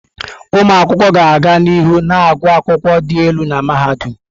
Ụmụ akwụkwọ ga-aga n'ihu na-agụ akwụkwọ dị elu na mahadum.